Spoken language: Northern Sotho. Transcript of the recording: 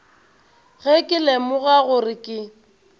ge ke lemoga gore ke